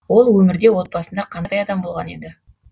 ол өмірде отбасында қандай адам болған еді